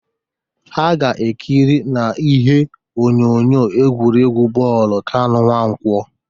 Ha ga-ekiri n'ihe onyonyo egwuregwu bọọlụ Kanụ Nwankwọ